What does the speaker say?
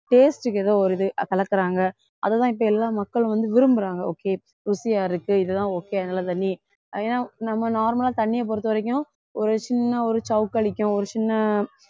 taste க்கு ஏதோ ஒரு இது கலக்கறாங்க அதைத்தான் இப்போ எல்லா மக்களும் வந்து விரும்புறாங்க okay ருசியா இருக்கு இதுதான் okay அதனாலே தண்ணி ஏன்னா நம்ம normal ஆ தண்ணியைப் பொறுத்தவரைக்கும் சின்ன ஒரு ஒரு சின்ன